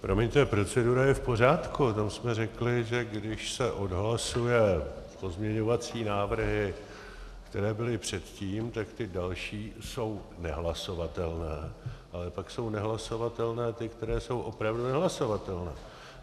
Promiňte, procedura je v pořádku, tam jsme řekli, že když se odhlasují pozměňovací návrhy, které byly předtím, tak ty další jsou nehlasovatelné, ale pak jsou nehlasovatelné ty, které jsou opravdu nehlasovatelné.